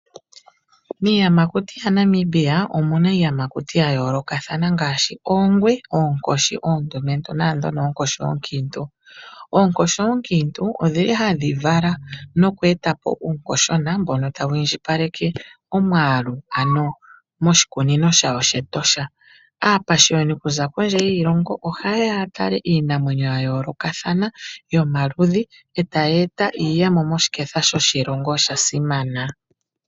Miiyamakuti yaNamibia, omu na iiyamakuti ya yoolokathana ngaashi oongwe, oonkoshi oondumentu noonkiintu. Oonkoshi oonkiintu ohadhi vala uunkoshona mboka tawu indjipaleke omwaalu moshikunino shawo shEtosha. Aapashiyoni okuza kondje yiilongo ohaye ya ya tale iinamwenyo ya yoolokatthana yomaludhi, e tayi eta iiyemo moshiketha shoshilongo. Osha simana.